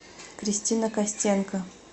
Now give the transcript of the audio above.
кристина костенко